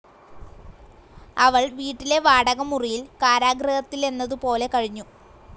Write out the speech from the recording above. അവൾ വീട്ടിലെ വാടക മുറിയിൽ കാരാഗൃഹത്തിലെന്നതുപോലെ കഴിഞ്ഞു.